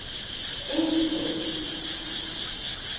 Eysteinn